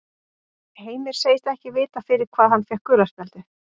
Heimir segist ekki vita fyrir hvað hann fékk gula spjaldið.